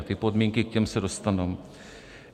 A ty podmínky, k těm se dostanu.